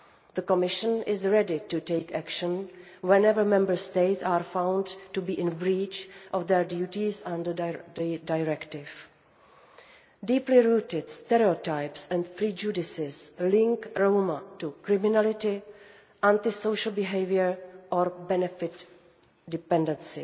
The Commission is ready to take action whenever Member States are found to be in breach of their duties under the directive. Deeply rooted stereotypes and prejudices link Roma to criminality, anti social behaviour or benefit dependency.